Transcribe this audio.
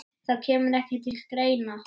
Það kemur ekki til greina.